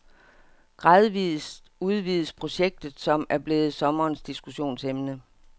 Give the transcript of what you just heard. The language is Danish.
Gradvist udvides projektet, som er blevet sommerens diskussionsemne.